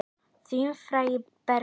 Þinn frændi, Bergur.